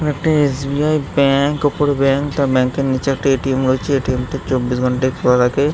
এখান একটা SBI. Bank | উপরে ব্যাঙ্ক তার ব্যাঙ্ক -এর নিচে এ.টি.এম. রয়েছে | এ.টি.এম. -টির চব্বিশ ঘণ্টাই খোলা থাকে।